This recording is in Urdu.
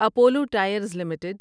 Apollo tyres limited